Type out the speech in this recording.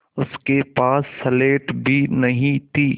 उसके पास स्लेट भी नहीं थी